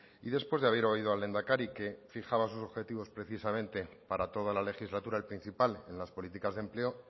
y después de haber oído al lehendakari que fijaba sus objetivos precisamente para toda la legislatura el principal en las políticas de empleo